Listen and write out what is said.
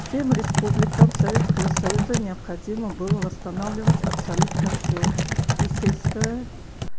всем республикам советского союза необходимо было восстанавливать абсолютно всё и сельское